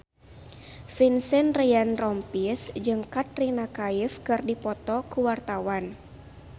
Vincent Ryan Rompies jeung Katrina Kaif keur dipoto ku wartawan